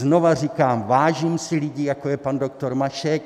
Znova říkám, vážím si lidí, jako je pan doktor Mašek.